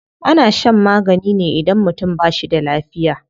Ana shan magani ne idan mutum ba shi da lafiya.